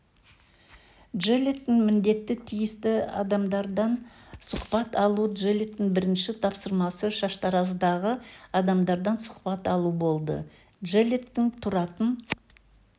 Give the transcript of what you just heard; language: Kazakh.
джеллеттің міндеті тиісті адамдардан сұхбат алу джеллеттің бірінші тапсырмасы шаштараздағы адамдардан сұхбат алу болды джеллеттің тұратын